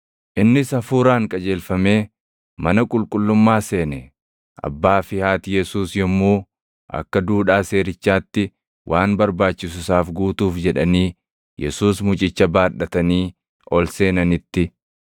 Innis Hafuuraan qajeelfamee mana qulqullummaa seene. Abbaa fi haati Yesuus yommuu akka duudhaa seerichaatti waan barbaachisu isaaf guutuuf jedhanii Yesuus mucicha baadhatanii ol seenanitti,